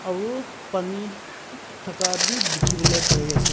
aru pani thaka bi dikhi wole pari ase.